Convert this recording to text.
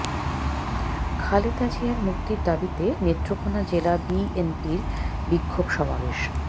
খালেদা জিয়ার মুক্তির দাবীতে নেত্রকোনা জেলা বিএনপির বিক্ষোভ সমাবেশ